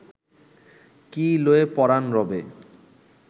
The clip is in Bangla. কি লয়ে পরাণ রবে